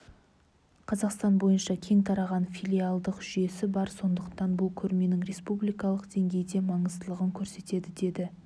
қазақстан бойынша кең тараған филиалдық жүйесі бар сондықтан бұл көрменің республикалық деңгейде маңыздылығын көрсетеді деді